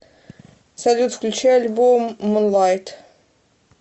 салют включи альбом мунлайт